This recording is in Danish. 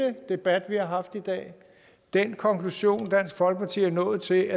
debat vi har haft i dag og den konklusion som dansk folkeparti er nået til